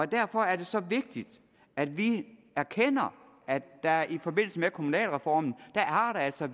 derfor er det så vigtigt at vi erkender at der i forbindelse med kommunalreformen altså